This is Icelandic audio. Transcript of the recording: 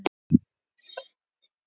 Voru tilbúnir að beita valdi